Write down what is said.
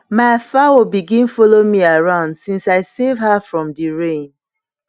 ma fowl begin follow me around since i save her from the rain